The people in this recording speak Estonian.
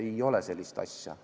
Ei ole sellist asja.